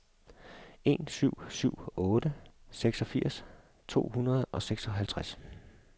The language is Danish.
en syv syv otte seksogfirs to hundrede og seksoghalvtreds